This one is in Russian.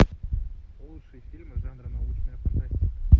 лучшие фильмы жанра научная фантастика